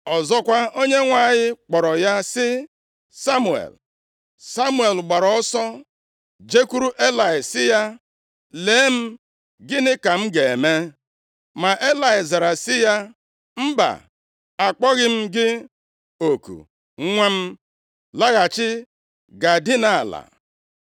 Ọzọkwa, Onyenwe anyị kpọrọ ya sị, “Samuel!” Samuel gbaara ọsọ jekwuru Elayị sị ya, “Lee m, gịnị ka m ga-eme?” Ma Elayị zara sị ya. “Mba akpọghị m gị oku, nwa m. Laghachi gaa dinaa ala.”